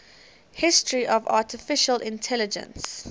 history of artificial intelligence